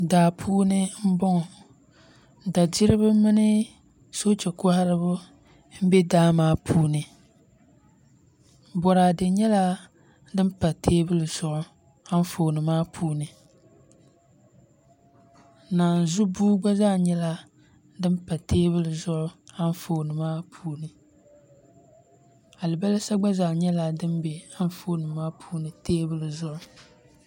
Daa puuni n boŋo dadiribi mini soochɛ koharibi n bɛ daa maa puuni boraadɛ nyɛla din pa teebuli zuɣu Anfooni maa puuni naanzu buu gba zaa nyɛla din pa teebuli zuɣu Anfooni maa puuni alibarisa gba zaa nyɛla din bɛ Anfooni maa puuni teebuli zuɣu